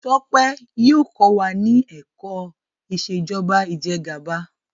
Tope yíò kọ wá ní èkó Ìṣèjọba Ìjẹgàba.